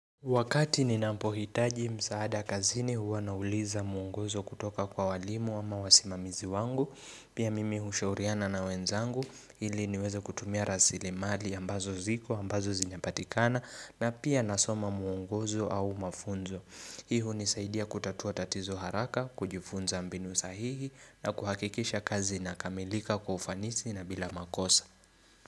Wakati ninapohitaji msaada kazini huwa nauliza mwongozo kutoka kwa walimu ama wasimamizi wangu, pia mimi hushauriana na wenzangu, ili niweze kutumia rasilimali ambazo ziko ambazo zinapatikana na pia nasoma mwongozo au mafunzo. Hii hunisaidia kutatua tatizo haraka, kujifunza mbinu sahihi na kuhakikisha kazi inakamilika kwa ufanisi na bila makosa.